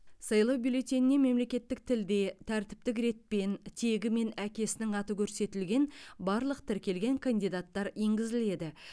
сайлау бюллетеніне мемлекеттік тілде тәртіптік ретпен тегі мен әкесінің аты көрсетілген барлық тіркелген кандидаттар енгізіледі